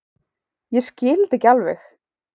Ég skil þetta ekki alveg.